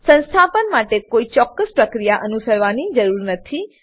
સંસ્થાપન માટે કોઈ ચોક્કસ પ્રક્રિયા અનુસરવાની જરૂર નથી